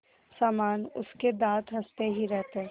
समान उसके दाँत हँसते ही रहते